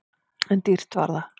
En dýrt var það!